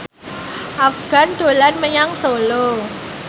Afgan dolan menyang Solo